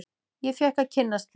Ég fékk að kynnast því.